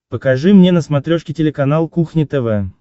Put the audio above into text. покажи мне на смотрешке телеканал кухня тв